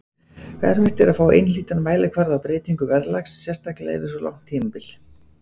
Erfitt er að fá einhlítan mælikvarða á breytingu verðlags, sérstaklega yfir svo langt tímabil.